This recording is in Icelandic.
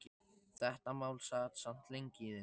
Þetta mál sat samt lengi í þeim.